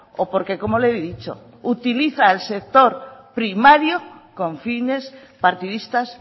o porque como le he dicho utiliza el sector primario con fines partidistas